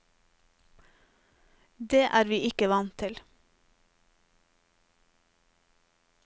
Det er vi ikke vant til.